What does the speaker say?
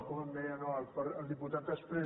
com em deia no el diputat exprés